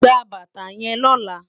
Gbá bàtá yèn lòlá